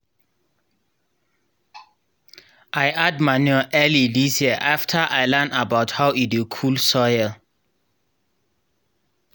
i add manure early this year after i learn about how e dey cool soil.